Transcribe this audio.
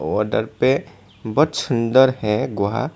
पे बहुत सुंदर है गुहा।